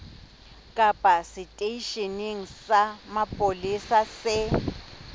kapa seteisheneng sa mapolesa se